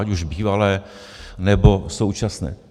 Ať už bývalé, nebo současné.